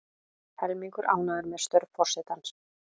Helmingur ánægður með störf forsetans